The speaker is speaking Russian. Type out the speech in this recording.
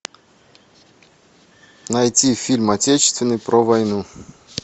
найти фильм отечественный про войну